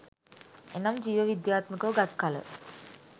එනම් ජීව විද්‍යාත්මක ව ගත් කළ